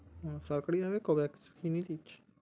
ও সরকারিভাবে covax benefit ।